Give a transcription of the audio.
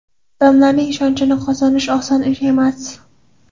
Odamlarning ishonchini qozonish oson ish emas.